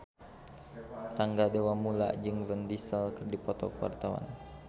Rangga Dewamoela jeung Vin Diesel keur dipoto ku wartawan